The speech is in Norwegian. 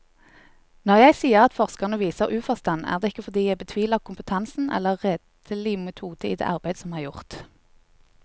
Når jeg sier at forskerne viser uforstand, er det ikke fordi jeg betviler kompetansen eller redelig metode i det arbeid som er gjort.